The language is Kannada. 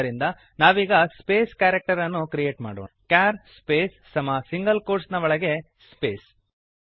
ಆದ್ದರಿಂದ ನಾವೀಗ ಸ್ಪೇಸ್ ಕ್ಯಾರಕ್ಟರನ್ನು ಕ್ರಿಯೇಟ್ ಮಾಡೋಣ ಚಾರ್ ಸ್ಪೇಸ್ ಕ್ಯಾರ್ ಸ್ಪೇಸ್ ಸಮ ಸಿಂಗಲ್ ಕೋಟ್ಸ್ ನ ಒಳಗೆ ಸ್ಪೇಸ್